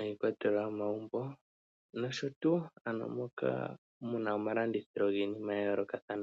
,iikwatelwa yo momagumbo nosho tuu ano moka mu na omalandithilo giinima ya yoolokathana.